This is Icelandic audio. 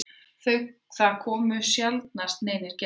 Það komu sjaldnast neinir gestir.